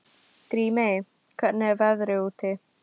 Grímey, hvernig er veðrið úti?